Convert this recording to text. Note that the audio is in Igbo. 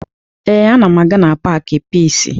Ee, ana m aga na paakị Piisi